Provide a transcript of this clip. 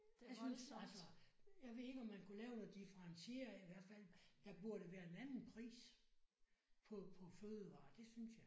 Jeg synes altså jeg ved ikke om man kunne lave noget differentiere i hvert fald der burde være en anden pris på på fødevarer det synes jeg